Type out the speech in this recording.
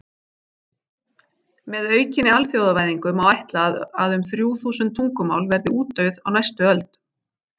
Með aukinni alþjóðavæðingu má ætla að um þrjú þúsund tungumál verði útdauð á næstu öld.